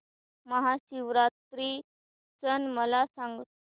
महाशिवरात्री सण मला सांग